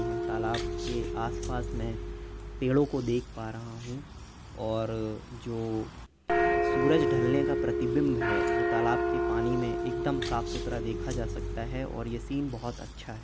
यह तालाब के आसपास मैं पेड़ो को देख पा रहा हूँ और जो सूरज ढ़लने का प्रतिबिंब है वो तालाब के पानी में एकदम साफ़ सुथरा देखा जा सकता है और ये सीन बहोत अच्छा है।